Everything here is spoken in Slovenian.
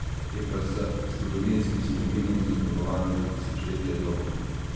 Je pa z zgodovinskim spominom zaznamovana za tisočletja dolgo.